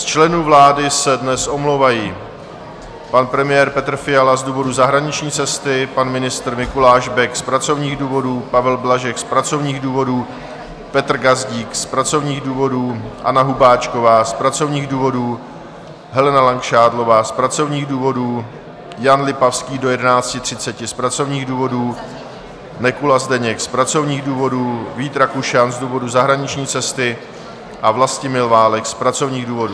Z členů vlády se dnes omlouvají: pan premiér Petr Fiala z důvodu zahraniční cesty, pan ministr Mikuláš Bek z pracovních důvodů, Pavel Blažek z pracovních důvodů, Petr Gazdík z pracovních důvodů, Anna Hubáčková z pracovních důvodů, Helena Langšádlová z pracovních důvodů, Jan Lipavský do 11.30 z pracovních důvodů, Nekula Zdeněk z pracovních důvodů, Vít Rakušan z důvodu zahraniční cesty a Vlastimil Válek z pracovních důvodů.